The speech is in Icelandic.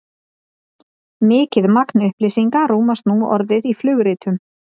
mikið magn upplýsinga rúmast nú orðið í flugritum